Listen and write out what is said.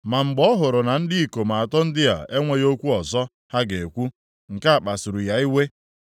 Ma mgbe ọ hụrụ na ndị ikom atọ ndị a enweghị okwu ọzọ ha ga-ekwu, nke a kpasuru ya iwe.